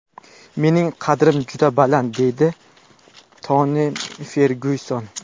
Mening qadrim juda baland”, deydi Toni Fergyuson.